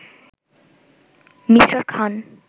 me: Khan